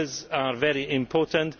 Skills are very important.